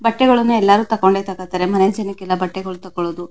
ಬಟ್ಟೆಗಳು ಎಲ್ಲರೂ ತಗೊಂಡೆ ತಗೋಳ್ತಾರೆ ಮನೆ ಜನಗಳಿಗೆ ಬಟ್ಟೆಗಳು ತಗೋಳದು.